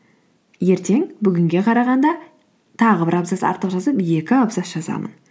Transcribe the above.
ертең бүгінге қарағанда тағы бір абзац артық жазып екі абзац жазамын